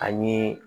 Ani